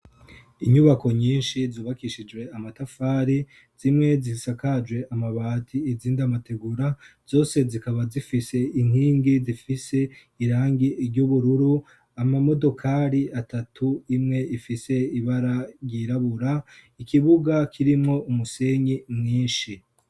inyubako nyinshi zubakishijwe amatafari, zimwe zihisakajwe amabati izindi amategura, zose zikaba zifise inkingi zifise irangi ryubururu, amamodokari atatu imwe ifise ibara ryirabura, ikibuga kirimwo umusenyi mwinshi.